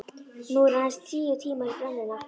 Nú eru aðeins tíu tímar í brennuna.